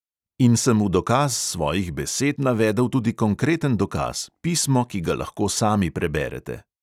In sem v dokaz svojih besed navedel tudi konkreten dokaz, pismo, ki ga lahko sami preberete.